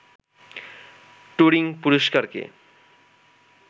Turing পুরস্কারকে